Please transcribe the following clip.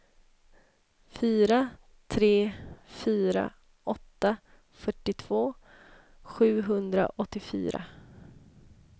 fyra tre fyra åtta fyrtiotvå sjuhundraåttiofyra